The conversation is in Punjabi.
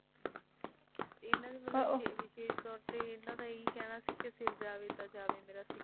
ਇਨ੍ਹਾਂ ਦੀ ਮੈਨੂੰ ਲੱਗਦਾ ਵਿਸ਼ੇਸ਼ ਤੌਰ ਤੇ ਇਹ ਕਹਿਣਾ ਸੀ ਕਿ ਸਿਰ ਜਾਵੇ ਤਾਂ ਜਾਵੇ ਮੇਰਾ